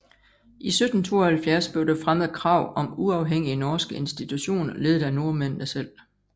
I 1772 blev der fremmet krav om uafhængige norske institutioner ledet af nordmændene selv